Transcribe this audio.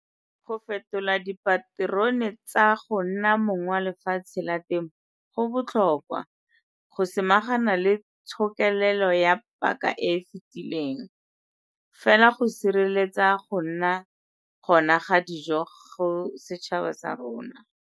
Go fetola dipaterone tsa go nna mong wa lefatshe la temo go botlhokwa go samagana le tshokelelo ya paka e e fetileng, fela go sireletsa go nna gona ga dijo go setšhaba sa rona.